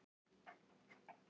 Garðaholti